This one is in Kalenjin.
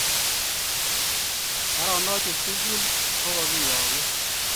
baronok chu tugul ko kakiyagun